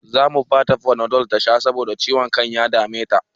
Zamu bata fanadol tasha saboda ciwon kan da ya dame ta